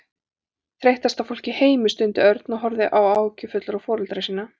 Þreyttasta fólk í heimi stundi Örn og horfði áhyggjufullur á foreldra sína.